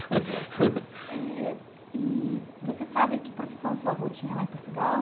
Eh, e você sabe que profissão seu avô tinha lá em Portugal?